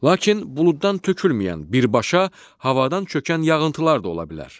Lakin buluddan tökülməyən, birbaşa havadan çökən yağıntılar da ola bilər.